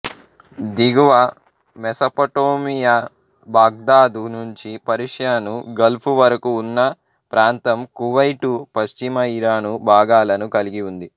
దిగువ Mesopotamia Baghdad నుండి Persian Gulf వరకు ఉన్న ప్రాంతం కువైటు పశ్చిమ ఇరాను భాగాలను కలిగి ఉంది